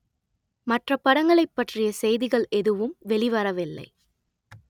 மற்ற படங்களைப் பற்றிய செய்திகள் எதுவும் வெளிவரவில்லை